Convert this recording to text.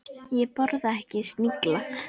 Ég borða ekki snigla.